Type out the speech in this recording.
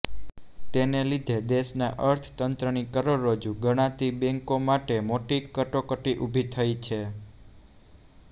તેને લીધે દેશના અર્થતંત્રની કરોડરજ્જુ ગણાતી બેન્કો માટે મોટી કટોકટી ઊભી થઈ છે